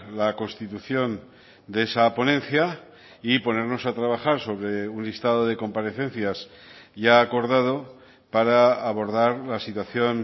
la constitución de esa ponencia y ponernos a trabajar sobre un listado de comparecencias ya acordado para abordar la situación